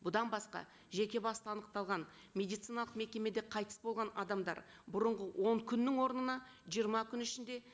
бұдан басқа жеке басты анықталған медициналық мекемеде қайтыс болған адамдар бұрынғы он күннің орнына жиырма күн ішінде